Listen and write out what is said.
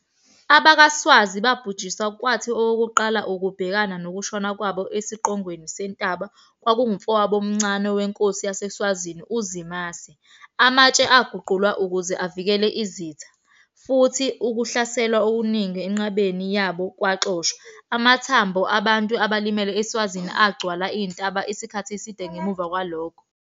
AbakwaSwazi babhujiswa kwathi owokuqala ukubhekana nokushona kwabo esiqongweni sentaba kwakungumfowabo omncane wenkosi yaseSwazini uZimase. Amatshe aguqulwa ukuze avikele isitha, futhi ukuhlaselwa okuningi enqabeni yabo kwaxoshwa. Amathambo abantu abalimele eSwazini agcwala intaba isikhathi eside ngemuva kwalokho.